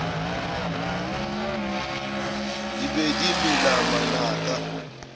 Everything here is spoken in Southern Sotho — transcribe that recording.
di be di mela manaka